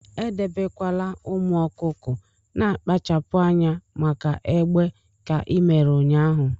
edebekwala ụmụ ọkụkọ na-akpachapụ anya maka egbe ka i mere ụnyahụ!